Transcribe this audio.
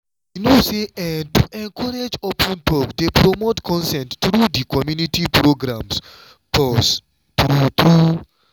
you know say ehhn to encourage open talk dey promote consent through di community programs pause true true.